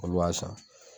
Olu b'a san